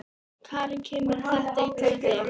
Karen: Kemur þetta illa við þig?